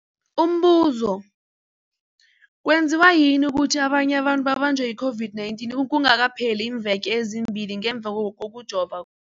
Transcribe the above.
Umbuzo, kwenziwa yini ukuthi abanye abantu babanjwe yi-COVID-19 kungakapheli iimveke ezimbili ngemva kokujova